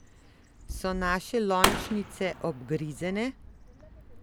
So naše lončnice obgrizene?